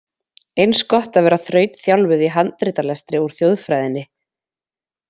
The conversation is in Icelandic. Eins gott að vera þrautþjálfuð í handritalestri úr þjóðfræðinni.